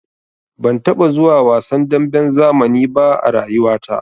Ban taɓa zuwa wasan damben zamani ba a rayuwata.